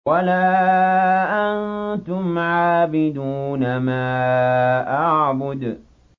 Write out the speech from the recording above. وَلَا أَنتُمْ عَابِدُونَ مَا أَعْبُدُ